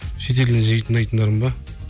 шетелден жиі тыңдайтындарым ба